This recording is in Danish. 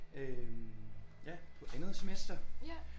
Øh på andet semester